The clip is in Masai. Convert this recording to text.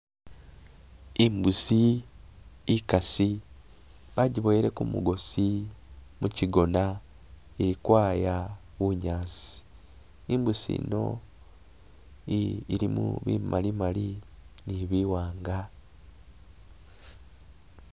Imbusi ikasi bagiboweleko mugosi muchigona ilikwaya bunyasi, imbusi yino ilimu imali mali ni biwanga.